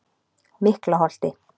Miklaholti